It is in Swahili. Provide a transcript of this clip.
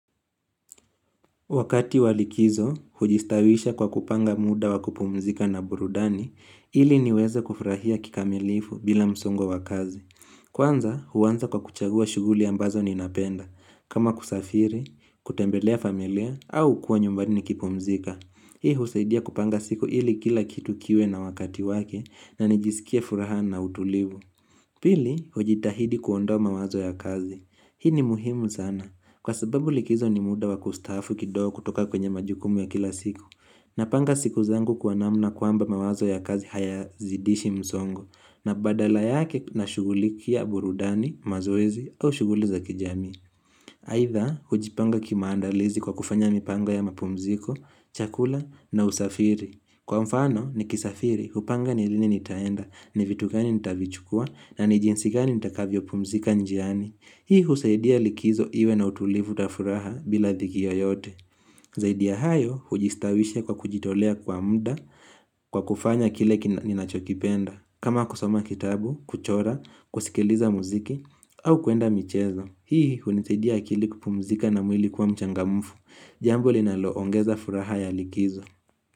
Wakati walikizo, hujistawisha kwa kupanga muda wakupumzika na burudani, ili niweze kufurahia kikamilifu bila msongo wakazi. Kwanza, huwanza kwa kuchagua shuguli ambazo ninapenda, kama kusafiri, kutembelea familia, au kuwa nyumbani nikipumzika. Hii husaidia kupanga siku ili kila kitu kiwe na wakati wake na nijisikie furaha na utulivu. Pili, ujitahidi kuondoa mawazo ya kazi. Hii ni muhimu sana. Kwa sababu likizo ni muda wa kustaafu kidogo kutoka kwenye majukumu ya kila siku. Na panga siku zangu kwa namna kuamba mawazo ya kazi haya zidishi mzongo. Na badala yake na shuguli kia burudani, mazoezi au shuguli za kijami. Haitha hujipanga kimaandalizi kwa kufanya mipango ya mapumziko, chakula na usafiri Kwa mfano ni kisafiri upanga ni lini nitaenda ni vitu gani nitavichukua na nijinsi gani nitakavyo pumzika njiani Hii husaidia likizo iwe na utulivu na furaha bila dhiki yo yote Zaidi ya hayo hujistawisha kwa kujitolea kwa muda kwa kufanya kile kinachokipenda kama kusoma kitabu, kuchora, kusikiliza muziki au kuenda michezo Hii hunisaidia akili ku pumzika na mwili kuwa mchanga mfu Jambo linalo ongeza furaha ya likizo.